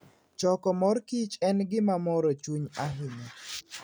Choko mor kich en gima moro chuny ahinya.